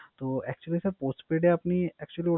তো Actually sir Postpaid এ আপনি